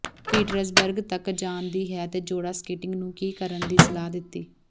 Petersburg ਤੱਕ ਜਾਣ ਦੀ ਹੈ ਅਤੇ ਜੋੜਾ ਸਕੇਟਿੰਗ ਨੂੰ ਕੀ ਕਰਨ ਦੀ ਸਲਾਹ ਦਿੱਤੀ